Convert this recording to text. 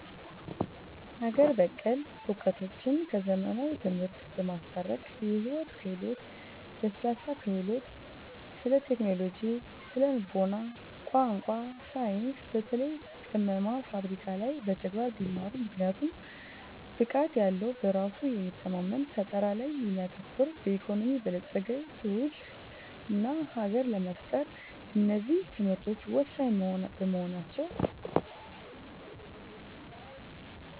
አገር በቀል እውቀቶችን ከዘመናዊ ትምህርቶች በማስታረቅ የሕይወት ክህሎት፣ ለስላሳ ክህሎቶች፣ ስለቴክኖሎጂ፣ ስነ-ልቡና፣ ቋንቋ፣ ሳይንስ በተለይ ቅመማና ፍብረካ ላይ በተግባር ቢማሩ!! ምክንያቱም ብቃት ያለዉ በራሱ የሚተማመን ፈጠራ ላይ የሚያተኩር በኢኮኖሚ የበለጸገ ትውልድና ሀገር ለመፍጠር እነዚህ ትምህርቶች ወሳኝ በመሆናቸው